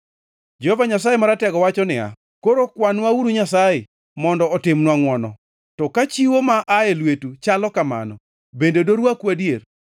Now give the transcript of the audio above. Jehova Nyasaye Maratego wacho niya, “Koro kwanwauru Nyasaye mondo otimnwa ngʼwono. To ka chiwo ma aye lwetu, chalo kamano, bende dorwaku adier?